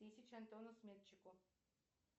тысяча антону сметчику